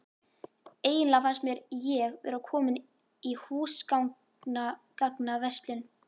Eiginlega fannst mér ég vera komin í húsgagnaverslun.